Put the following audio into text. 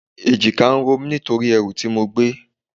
Èjìká ń ro mí nítorí ẹrù tí mo gbé.